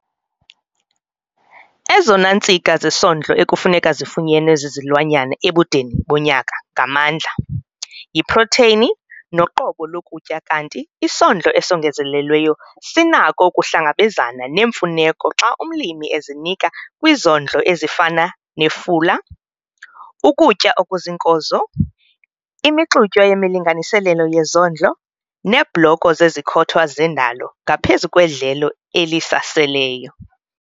Ezona ntsika zesondlo ekufuneka zifunyenwe zizilwanyana ebudeni bonyaka ngamandla, yiprotheyini noqobo lokutya kanti isondlo esongezelelweyo sinako ukuhlangabezana nezi mfuneko xa umlimi ezinika kwizondlo ezifana nefula, ukutya okuziinkozo, imixutywa yemilinganiselo yezondlo neebloko zezikhothwa zendalo ngaphezu kwedlelo elisaseleyo.